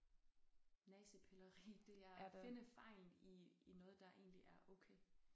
Næsepilleri det er finde fejlen i i noget der egentlig er okay